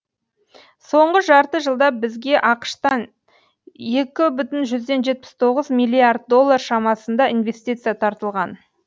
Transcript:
соңғы жарты жылда бізге ақш тан екі бүтін жүзден жетпіз тоғыз миллиард доллар шамасында инвестиция тартылған